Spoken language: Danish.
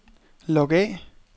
log af